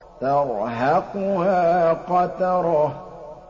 تَرْهَقُهَا قَتَرَةٌ